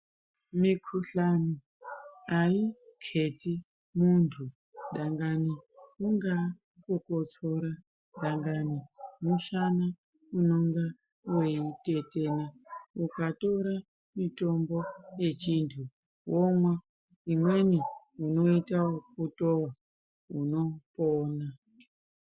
Mukuhlani hayi keti muntu dangani kungava kukotsora dangani mushana uno ngatetena ukatora mutombo wechindu womwa imweni uoita wekutova unopona.